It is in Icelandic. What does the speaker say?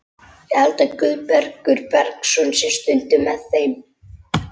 Ég held að Guðbergur Bergsson sé stundum með þeim.